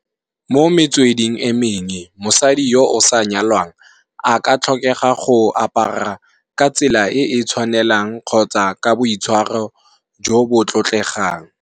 Mo metsweding e menge, mosadi yo o sa nyalwang, a ka tlhokega go apara ka tsela e e tshwanelang kgotsa ka boitshwaro jo bo tlotlegang.